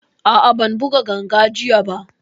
A'a, ban buga ganga jiya ba